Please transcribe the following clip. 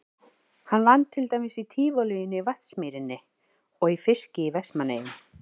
Hann vann til dæmis í Tívolíinu í Vatnsmýrinni og í fiski í Vestmannaeyjum.